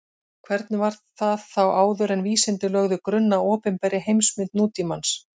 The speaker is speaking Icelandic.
Hvernig var það þá áður en vísindin lögðu grunn að opinberri heimsmynd nútímans?